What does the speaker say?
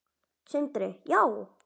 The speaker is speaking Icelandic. Sindri: Já?